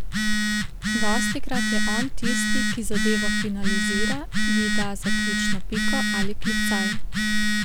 Dostikrat je on tisti, ki zadevo finalizira, ji da zaključno piko ali klicaj.